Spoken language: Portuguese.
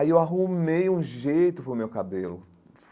Aí eu arrumei um jeito para o meu cabelo.